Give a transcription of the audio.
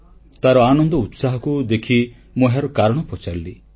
ତାର ଆନନ୍ଦ ଉତ୍ସାହକୁ ଦେଖି ମୁଁ ଏହାର କାରଣ ପଚାରିଲି